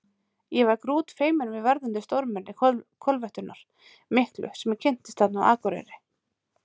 Ég var grútfeiminn við verðandi stórmenni kollveltunnar miklu sem ég kynntist þarna á Akureyri.